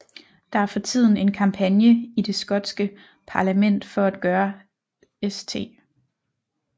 Der er for tiden en kampagne i det skotske parlament for at gøre St